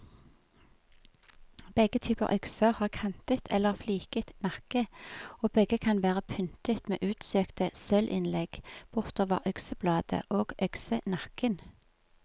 Begge typer økser har kantet eller fliket nakke, og begge kan være pyntet med utsøkte sølvinnlegg bortover øksebladet og øksenakken.